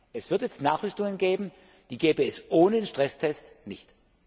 Es wird jetzt Nachrüstungen geben, die gäbe es ohne den Stresstest nicht.